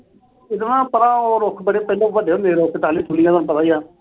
ਤੇ ਇਕ ਨਾ ਪਰਾ ਉਹ ਰੁੱਖ ਪਹਿਲਾਂ ਹੁੰਦੇ ਸੀ ਵੱਡੇ-ਵੱਡੇ, ਟਾਹਲੀਆਂ-ਟੂਹਲੀਆਂ। ਤੈਨੂੰ ਪਤਾ ਈ ਏ।